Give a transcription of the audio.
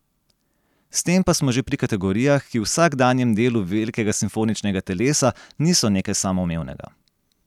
S tem pa smo že pri kategorijah, ki v vsakdanjem delu velikega simfoničnega telesa niso nekaj samoumevnega.